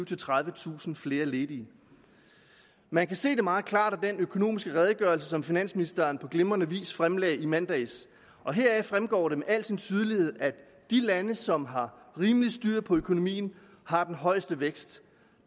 tredivetusind flere ledige man kan se det meget klart af den økonomiske redegørelse som finansministeren på glimrende vis fremlagde i mandags heraf fremgår det med al sin tydelighed at de lande som har rimelig styr på økonomien har den højeste vækst